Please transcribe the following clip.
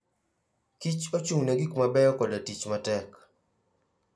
Kich ochung'ne gik mabeyo koda tich matek.